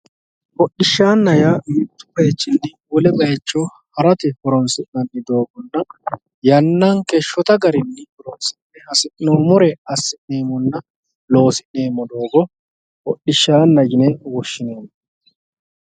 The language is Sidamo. Hodhishshanna yaa duuchu bayichinni wole bayicho ha'rate horonsi'nanni doogonna yannanke shotta garinni horonsi'ne hasi'noommore assi'neemmonna loosi'neemmo doogo hodhishshaanna yinne woshshineemmo.